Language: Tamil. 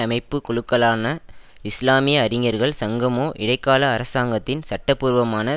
அமைப்பு குழுக்களான இஸ்லாமிய அறிஞர்கள் சங்கமோ இடைக்கால அரசாங்கத்தின் சட்டபூர்வமான